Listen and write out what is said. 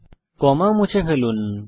এখন কমা মুছে ফেলুন